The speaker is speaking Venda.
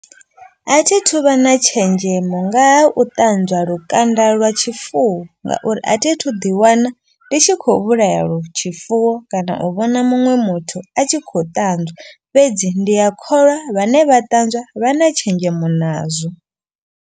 A thithu vha na tshenzhemo ngaha u ṱanzwa lukanda lwa tshifuwo. Ngauri a thi thu ḓi wana ndi tshi khou vhulaya lwo tshifuwo kana u vhona muṅwe muthu a tshi khou ṱanzwa. Fhedzi ndi ya kholwa vhane vha ṱanzwa vha na tshenzhemo nazwo.